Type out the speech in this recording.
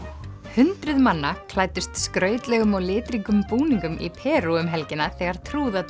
hundruð manna klæddust skrautlegum og litríkum búninga í Perú um helgina þegar